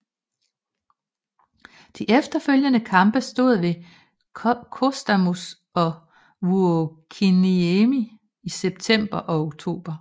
De efterfølgende kampe stod ved Kostamus og Vuokkiniemi i september og oktober